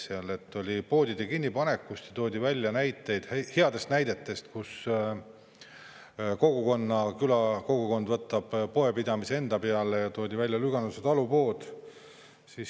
Oli juttu poodide kinnipanekust ja toodi välja häid näiteid, kus külakogukond võtab poepidamise enda peale, ja toodi välja Lüganuse talupood.